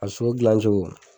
A sogo gilan cogo